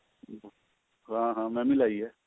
ਹਾਂ ਹਾਂ ਮੈਂ ਵੀ ਲਾਈ ਹੈ